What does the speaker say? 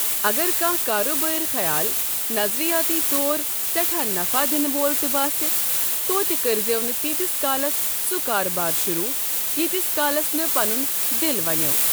اگر کانٛہہ کارٕبٲرۍ خَیال نظرِیٲتی طور سٮ۪ٹھاہ نفع دِنہٕ وول تہِ باسہِ، توتہِ کٔرۍزیٚو نہٕ تیٖتِس کالس سُہ کاربار شُروٗع ییٖتِس کالس تہٕ پَنُن دِل وَنیٛو۔